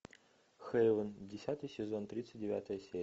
хейвен десятый сезон тридцать девятая серия